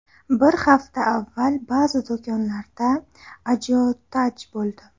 Bir hafta avval ba’zi do‘konlarda ajiotaj bo‘ldi.